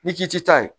Ni k'i ti taa ye